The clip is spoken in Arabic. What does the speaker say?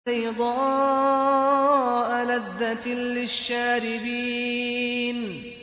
بَيْضَاءَ لَذَّةٍ لِّلشَّارِبِينَ